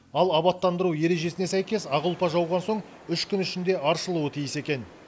ал абаттандыру ережесіне сәйкес ақ ұлпа жауған соң үш күн ішінде аршылуы тиіс екен